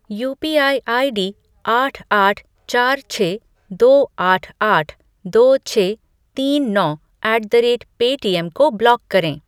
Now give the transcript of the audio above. UPI ID आठ आठ चार छः दो आठ आठ दो छः तीन नौ ऐट द रेट पेटीएम को ब्लॉक करें।